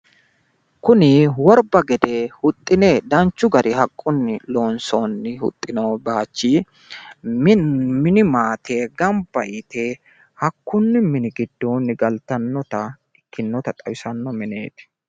Kuni worba gede huxxine danchu garinni haqqunni loonsoonni huxxino baaychi mini maate gamba yite hakkunni mini giddoonni galtannota ikkinota xawisanno mineeti.